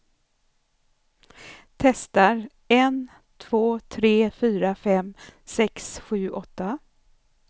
Testar en två tre fyra fem sex sju åtta.